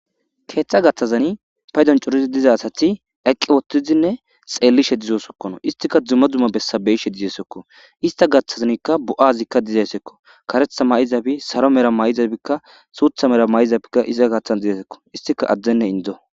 keeththa gathazani paydon corizi diza asathi eqqi wottizinne xeellishe dizosokkono istika dzuma dzuma bessabeyishe dizesekko ista gaththazanikka bo7azikka dizesekko karetha ma7izabi saro mera may7izabikka suutha mera may7izabikka izia gaththan dizesekko istika addenne indo